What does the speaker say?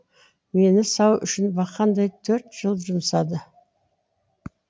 мені сау үшін бақандай төрт жыл жұмсады